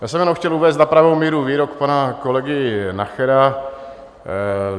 Já jsem jenom chtěl uvést na pravou míru výrok pana kolegy Nachera.